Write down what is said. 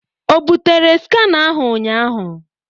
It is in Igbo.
O bụtere skanar ahụ ụnyaahụ?